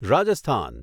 Rajasthan